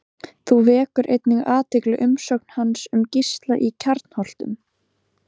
Þá vekur einnig athygli umsögn hans um Gísla í Kjarnholtum.